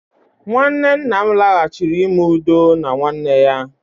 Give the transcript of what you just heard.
nwanne nna m laghachiri ime udo na nwanne ya